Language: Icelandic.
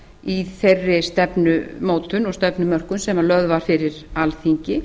í þeirri stefnumótun og stefnumörkun sem lögð var fyrir alþingi